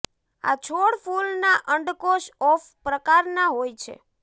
આ છોડ ફૂલ ના અંડકોશ ઓફ પ્રકારના હોય છે